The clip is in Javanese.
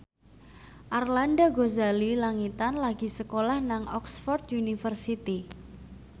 Arlanda Ghazali Langitan lagi sekolah nang Oxford university